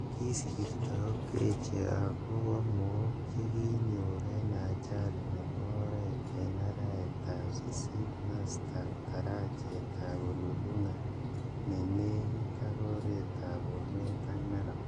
Kisirto Okeche ako po mook che ki nyor ing ajali nebo oret eng araet ap sisit mastap darachet ap Ololunga ne nenik ak oret ap Bomet ak Narok.